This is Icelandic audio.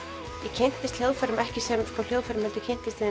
kynntist hljóðfærum ekki sem hljóðfærum heldur